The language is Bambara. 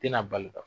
Tɛna bali ka